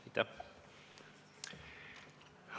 Aitäh!